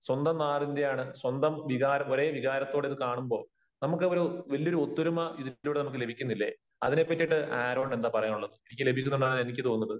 സ്വന്തം നാടിന്റെയാണ് സ്വന്തം വികാര, ഒരേ വികാരത്തോടെ ഇത് കാണുമ്പോ നമുക്ക് ഒരു വലിയൊരു ഒത്തൊരുമ ഇതിലൂടെ നമുക്ക് ലഭിക്കുന്നില്ലേ? അതിനെ പറ്റിയിട്ട് ആരോണിന് എന്താണ് പറയാനുള്ളത്? എനിക്ക് ലഭിക്കുന്നുണ്ടെന്നാണ് എനിക്ക് തോന്നുന്നത്.